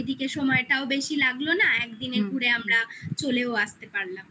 এদিকে সময়টাও বেশি লাগলো না একদিনে ঘুরে আমরা চলেও আসতে পারলাম